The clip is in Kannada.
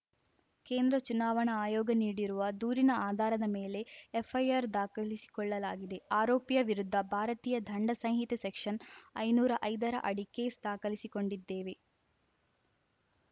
ಕೇಂದ್ರ ಚುನಾವಣಾ ಆಯೋಗ ನೀಡಿರುವ ದೂರಿನ ಆಧಾರದ ಮೇಲೆ ಎಫ್‌ಐಆರ್‌ ದಾಖಲಿಸಿಕೊಳ್ಳಲಾಗಿದೆ ಆರೋಪಿಯ ವಿರುದ್ಧ ಭಾರತೀಯ ದಂಡ ಸಂಹಿತೆ ಸೆಕ್ಷನ್‌ ಐನೂರ ಐದರ ಅಡಿ ಕೇಸ್‌ ದಾಖಲಿಸಿಕೊಂಡಿದ್ದೇವೆ